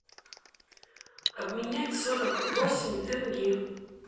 обменять сорок восемь тенге